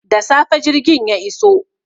Da safe jirgin ya iso.